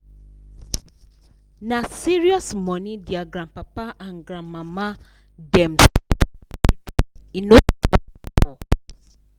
na serious money their grandpapa and grandmama dem save for the children e no small at all